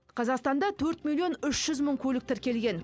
қазақстанда төрт миллион үш жүз мың көлік тіркелген